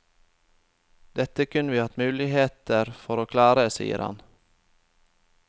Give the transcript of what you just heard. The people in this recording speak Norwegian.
Dette kunne vi hatt muligheter for å klare, sier han.